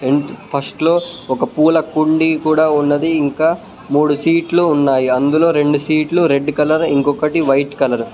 First లో ఒక పూల కుండీ కూడా ఉన్నది. ఇంకా మూడు సీట్లు ఉన్నాయి. అందులో రెండు సీట్లు రెడ్ కలర్ ఇంకొకటి వైట్ కలర్ .